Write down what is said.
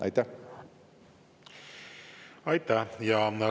Aitäh!